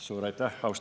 Suur aitäh!